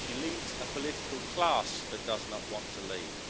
She leads a political class that does not want to leave.